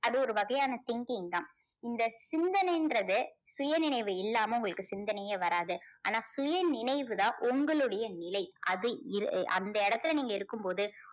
அது ஒரு வகையான thinking தான். இந்த சிந்தனைன்றது சுயநினைவு இல்லாமல் உங்களுக்கு சிந்தனையே வராது. ஆனா சுயநினைவு தான் உங்களுடைய நிலை. அது இரு~அந்த இடத்தில நீங்க இருக்கும் போது